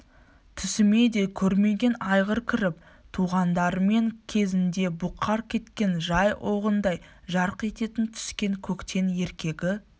түсіме де көрмеген айғыр кіріп туғандарым кезінде бұқар кеткен жай оғындай жарқ еттің түскен көктен еркегі